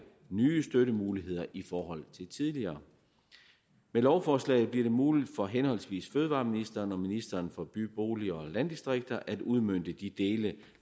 nye støttemuligheder i forhold til tidligere med lovforslaget bliver det muligt for henholdsvis fødevareministeren og ministeren for by bolig og landdistrikter at udmønte de dele